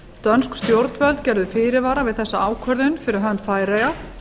dönsk stjórnvöld gerðu fyrirvara við þessa ákvörðun fyrir hönd færeyja